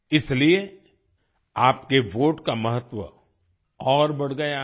इसलिए आपके वोट का महत्व और बढ़ गया है